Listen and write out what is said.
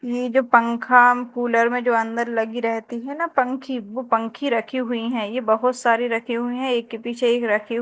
यह जो पंखा कूलर में जो अंदर लगी रहती है ना पंखी वो पंखी रखी हुई है यह बहुत सारी रखी हुई है एक के पीछे एक राखी।--